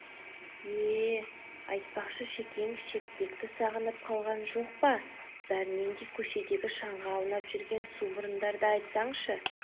е-е айтпақшы шекең шертпекті сағынып қалған жоқ па бәрінен де көшедегі шаңға аунап жүрген сумұрындарды айтсаңшы